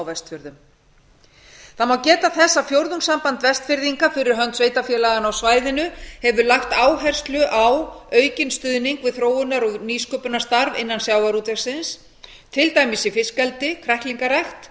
vestfjörðum það má geta þess að fjórðungssamband vestfirðinga fyrir hönd sveitarfélaganna á svæðinu hefur lagt áherslu á aukinn stuðning við þróunar og nýsköpunarstarf innan sjávarútvegsins til dæmis í fiskeldi kræklingarækt